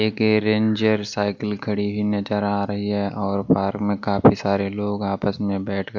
एक ranger cycle खड़ी नजर आ रही है और पार्क में काफी सारे लोग आपस में बैठकर --